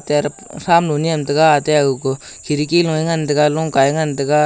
ya rak thamnu nyem tega ate akaoke khirki low a ngan tega lunka a ngan tega.